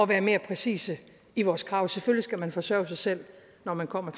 være mere præcise i vores krav selvfølgelig skal man forsørge sig selv når man kommer